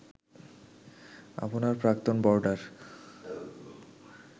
আপনার প্রাক্তন বোর্ডার